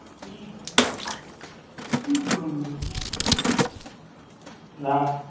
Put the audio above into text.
রাখ।